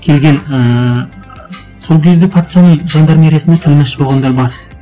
келген ііі сол кезде патшаның жандармериясында тілмаш болғандар бар